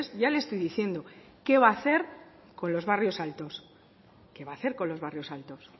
ya le estoy diciendo qué va a hacer con los barrios altos qué va a hacer con los barrios altos